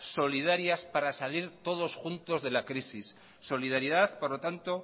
solidarias para salir todos juntos de la crisis solidaridad por lo tanto